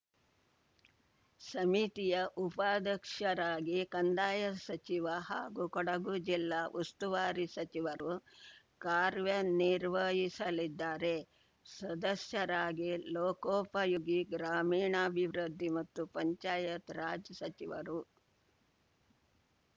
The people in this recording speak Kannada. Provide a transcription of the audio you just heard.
ಸಮಿತಿಯ ಉಪಾಧ್ಯಕ್ಷರಾಗಿ ಕಂದಾಯ ಸಚಿವ ಹಾಗೂ ಕೊಡಗು ಜಿಲ್ಲಾ ಉಸ್ತುವಾರಿ ಸಚಿವರು ಕಾರ್ಯನಿರ್ವಹಿಸಲಿದ್ದಾರೆ ಸದಸ್ಯರಾಗಿ ಲೋಕೋಪಯೋಗಿ ಗ್ರಾಮೀಣಾಭಿವೃದ್ಧಿ ಮತ್ತು ಪಂಚಾಯತ್‌ ರಾಜ್‌ ಸಚಿವರು